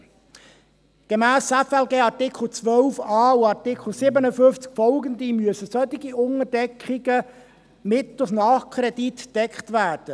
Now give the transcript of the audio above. des Gesetzes über die Steuerung von Finanzen und Leistungen (FLG) müssen solche Unterdeckungen durch Nachkredite gedeckt werden.